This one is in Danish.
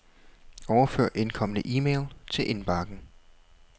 Overfør indkomne e-mail til indbakken.